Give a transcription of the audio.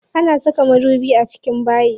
Ana saka madubi a cikin bayi.